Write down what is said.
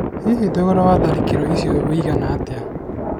Hihi, thogora wa tharikirio icio wĩ igana atĩa?